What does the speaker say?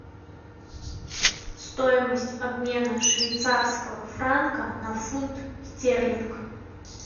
стоимость обмена швейцарского франка на фунт стерлинг